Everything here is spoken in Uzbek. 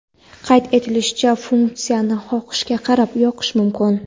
Qayd etilishicha, funksiyani xohishga qarab yoqish mumkin.